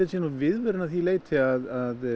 sé nú viðvörun að því leiti að